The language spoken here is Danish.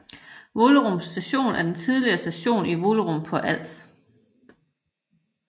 Vollerup Station er en tidligere station i Vollerup på Als